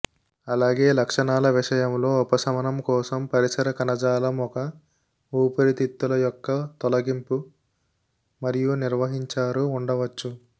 అలాగే లక్షణాల విషయంలో ఉపశమనం కోసం పరిసర కణజాలం ఒక ఊపిరితిత్తుల యొక్క తొలగింపు మరియు నిర్వహించారు ఉండవచ్చు